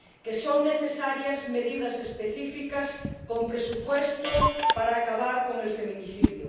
que son necesarias medidas específicas con presupuesto para acabar con el feminicidio